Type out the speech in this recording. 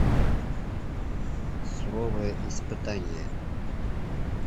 суровое испытание